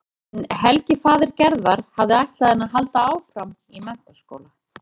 En Helgi faðir Gerðar hafði ætlað henni að halda áfram í menntaskóla.